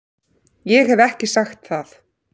Ég hef ekki sagt það!